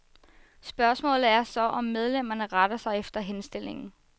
Spørgsmålet er så, om medlemmerne retter sig efter henstillingen.